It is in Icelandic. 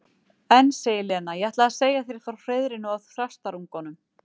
En, segir Lena, ég ætlaði að segja þér frá hreiðrinu og þrastarungunum.